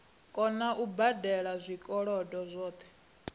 kona u badela zwikolodo zwadzo